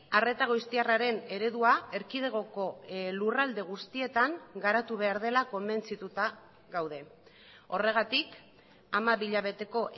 arreta goiztiarraren eredua erkidegoko lurralde guztietan garatu behar dela konbentzituta gaude horregatik hamabi hilabeteko